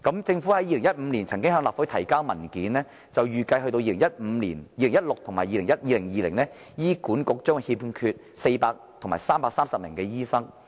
政府在2015年曾向立法會提交文件，預計到2016年及2020年，醫管局將欠缺400名及330名醫生。